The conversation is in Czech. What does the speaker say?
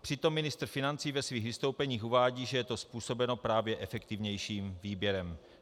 Přitom ministr financí ve svých vystoupeních uvádí, že je to způsobeno právě efektivnějším výběrem.